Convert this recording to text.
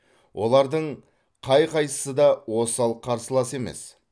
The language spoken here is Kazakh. олардың қай қайсысы да осал қарсылас емес